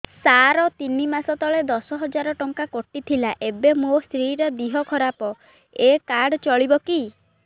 ସାର ତିନି ମାସ ତଳେ ଦଶ ହଜାର ଟଙ୍କା କଟି ଥିଲା ଏବେ ମୋ ସ୍ତ୍ରୀ ର ଦିହ ଖରାପ ଏ କାର୍ଡ ଚଳିବକି